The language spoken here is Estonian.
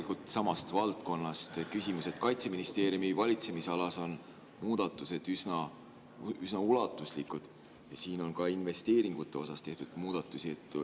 Mul on samast valdkonnast küsimus, et Kaitseministeeriumi valitsemisalas on muudatused üsna ulatuslikud ja siin on ka investeeringute osas tehtud muudatusi.